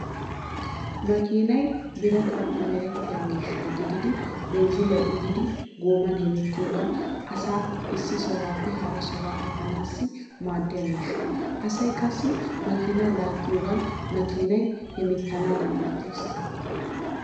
Makinay birataappe merittiya miishsha gididi binzzilliya uyidi gooman hemettiyogan asaa issi sohuwaappe hara sohuwaa efaanaassi maaddiya miishsha. Asay qassi makiina laaggiyogan makiinay hemettanaadan oottees.